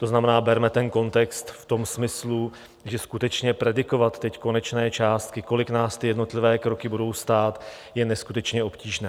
To znamená, berme ten kontext v tom smyslu, že skutečně predikovat teď konečné částky, kolik nás ty jednotlivé kroky budou stát, je neskutečně obtížné.